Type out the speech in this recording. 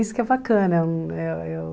Isso que é bacana. Eh